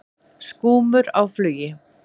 Skúmur á flugi.